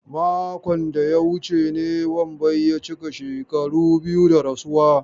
Makon da ya wuce ne Wambai ya cika shekaru biyu da rasuwa.